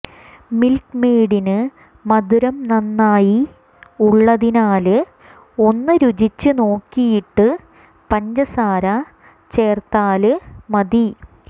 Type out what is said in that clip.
milk മെയ്ഡിന് മധുരം നന്നായി ഉള്ളതിനാല് ഒന്ന് രുചിച്ച് നോക്കിയിട്ട് പഞ്ചസാര ചേര്ത്താല് മതി